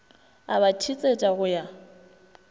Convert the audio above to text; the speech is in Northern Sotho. a ba thetsetša go ya